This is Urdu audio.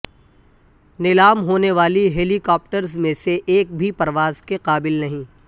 نیلام ہونے والے ہیلی کاپٹرز میں سے ایک بھی پرواز کے قابل نہیں